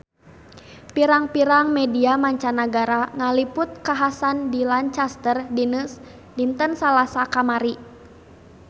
Pirang-pirang media mancanagara ngaliput kakhasan di Lancaster dinten Salasa kamari